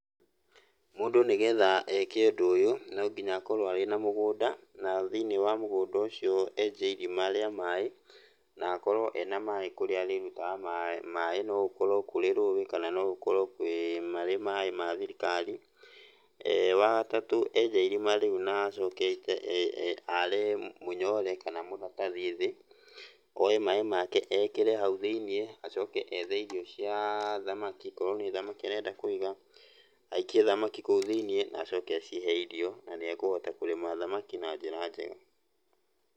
Mũndũ nĩgetha eke ũndũ ũyũ no nginya akorwo arĩ na mũgũnda, na thĩiniĩ wa mũgũnda ũcio enje irima rĩa maĩ, na akorwo ena maĩ kũrĩa arĩrutaga maĩ, no gũkorwo kũrĩ rũĩ kana no gũkorwo kwĩ marĩ maĩ ma thirikari. Wa gatatũ, enja irima rĩu na acoke are mũnyore kana maratathi thĩ. Oe maĩ make ekĩre hau thĩiniĩ, acoke ethe irio cia thamaki akorwo nĩ thamaki arenda kũiga, aikie thamaki kũu thĩiniĩ na acoke acihe irio, na nĩekũhota kũrĩma thamaki na njĩra njega.